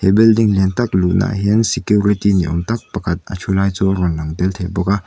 he building lian tak luhnaah hian security ni awm tak pakhat a thu lai chu a rawn lang tel thei bawk a.